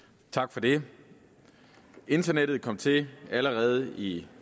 tak for det internettet kom til allerede i